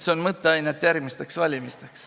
Siin on mõtteainet järgmisteks valimisteks.